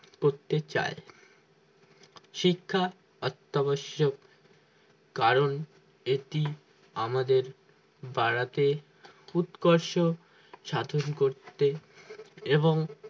করতে চাই শিক্ষা হত্যাবশ্যক কারণ এটি আমাদের বাড়াতে উৎকর্ষ সাধন করতে এবং